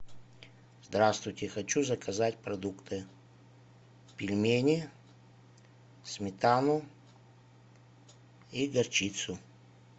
здравствуйте хочу заказать продукты пельмени сметану и горчицу